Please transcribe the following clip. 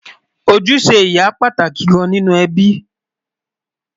ojúṣe ìyá pàtàkì gán nínú ẹbí